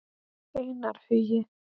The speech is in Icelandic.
Einar Hugi.